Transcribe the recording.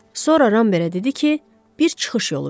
Sonra Rambergə dedi ki, bir çıxış yolu bilir.